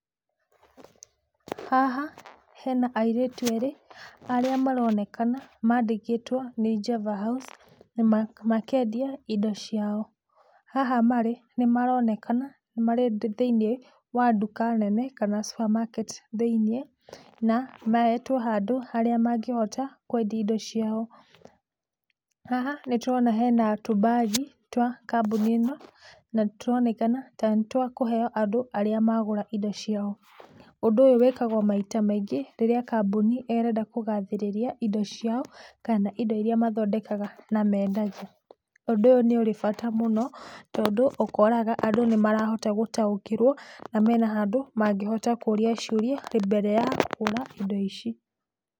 Haha he na airĩtu erĩ arĩa maronekana mandĩkĩtwo nĩ Jeva House, na makendia indo ciao. Haha marĩ nĩ maronekana marĩ thĩiniĩ wa nduka nene, kana supermarket thĩiniĩ, na mahetwo handũ harĩa mangĩhota kwendia indo ciao. Haha nĩ tũrona hena tũmbagi twa kambuni ĩno na nĩtũronekana tarĩ twakũheo andũ arĩa magũra indo ciao. Ũndũ ũyũ wĩkagwo maita maingĩ rĩrĩa kambuni ĩrenda kũgathĩrĩria indo ciao kana indo iria mathondekaga na mendagia. Ũndũ ũyũ nĩ ũrĩ bata mũno tondũ ũkoraga andũ nĩ marahota gũtaũkĩrwo na mena handũ mangĩhota kũria ciũria mbere ya kũgũra indo ici.